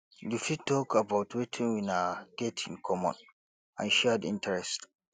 you fit talk about wetin una get in common and shared interest